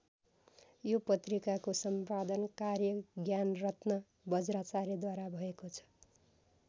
यो पत्रिकाको सम्पादन कार्य ज्ञानरत्न वज्राचार्यद्वारा भएको छ।